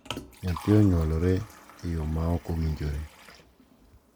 Nyathi onyuolore e yo ma ok owinjore.